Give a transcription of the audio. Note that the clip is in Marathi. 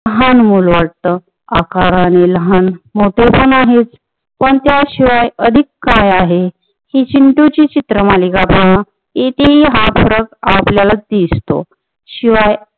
लहान मुल वाटत आकाराने लहान मोठे पण आहेत पण त्या शिवाय अधिक काय आहे ती चिंटू ची चित्र मालिका पहा तेथील हा फरक आपल्याला दिसतो शिवाय